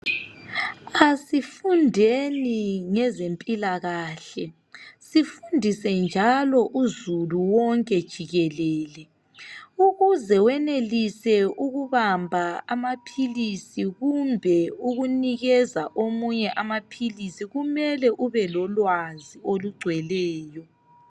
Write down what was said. Asifundeni ngezempilakahle sifundise njalo uzulu wonke jikelele. Ukuze wenelise ukubamba amaphilisi kumbe ukunikeza omunye nye amaphilisi kumele ube lolwazi olugcweleyo.